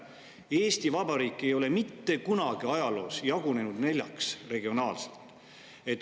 Eesti Vabariik ei ole mitte kunagi ajaloos jagunenud regionaalselt neljaks.